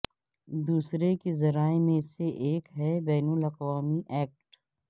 دوسرے کے ذرائع میں سے ایک ہے بین الاقوامی ایکٹ